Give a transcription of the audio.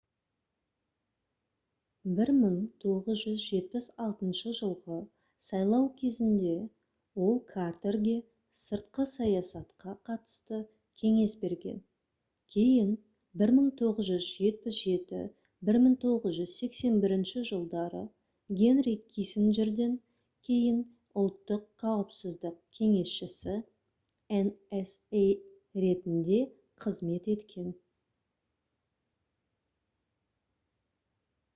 1976 жылғы сайлау кезінде ол картерге сыртқы саясатқа қатысты кеңес берген кейін 1977-1981 жылдары генри киссинджерден кейін ұлттық қауіпсіздік кеңесшісі nsa ретінде қызмет еткен